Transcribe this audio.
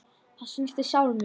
Það snertir sál mína.